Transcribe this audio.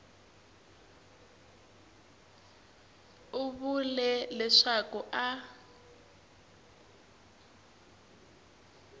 a vula leswaku a a